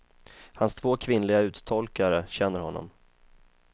Hans två kvinnliga uttolkare känner honom.